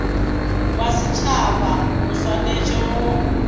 wa setšhaba o swanetše go